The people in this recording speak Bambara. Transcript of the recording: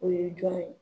O ye jɔn ye